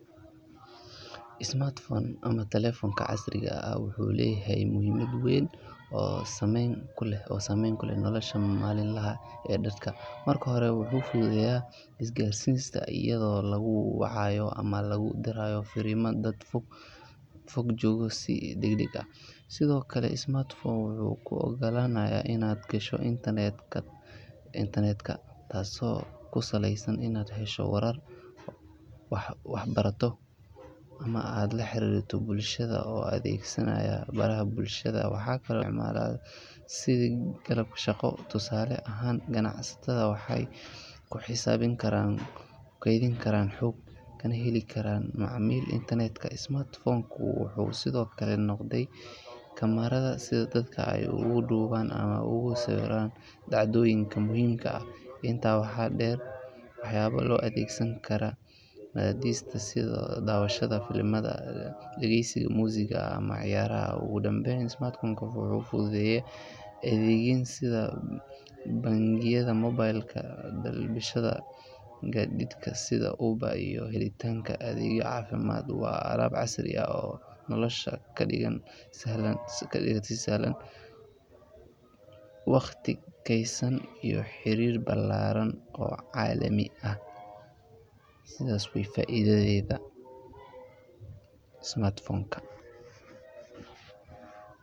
smart phone ama telefonka casriiga aah wuxu leyahay muhiimad weyn oo sameyn kuleh oo sameyn kuleh nolosha maliin laha ee dadka marka hoore wuxu fududeya isgaarsinta iyado laguu wacayo ama laguu diraayo fariima dad foog foog joogo sii dagdaag aah. sidokale smart phone wuxu kuu ogolanaya inaad gaasho internetka intanetka taaso kusaleysan inaad heesho warar wax barato ama aad laa xarirto bulshada oo adegsanaya baraha bulshada waxa kale sidii shaaqo tusaale ahaan ganacsatada waxey kuu xisaabin kaaran kuu keydin karan xoog kanaa helii karaan intarnetka. smart phone kuu wuxu sido kale noqday kamerada sidaa dadka eey ugu duwaan ama eey ogu sawiraan dhacdoyiinka muhiimka aah. intaa waxa dheer wax yaaba loo adegsaan kara aya diista sida dawashada filimada, dageysigaa musika ama ciyaraha. ogu dambeyn smart phone kuu wuxu fududeye adegyiin sida bangiyada mobaylka balbishada gaditka sidaa uber iyo helitaanka adegyo cafimaad waa alaab casrii aah oo nolosha kaa dhiigan sii sahlaan. waqti keysaan iyo xiriir balaraan oo calaami aah sidaas waye faidadeda smart phone kaa.